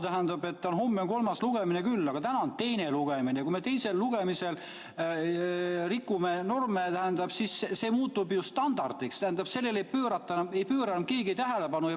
Ma saan aru, et homme on kolmas lugemine, aga täna on teine lugemine ja kui me teisel lugemisel rikume norme, siis muutub see ju standardiks ja normidele ei pööra keegi enam tähelepanu.